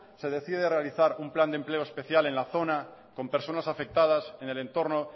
se decide realizar un plan de empleo especial en la zona con personas afectadas en el entorno